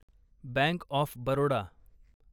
bank of Baroda